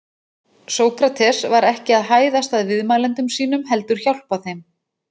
Sókrates var ekki að hæðast að viðmælendum sínum heldur hjálpa þeim.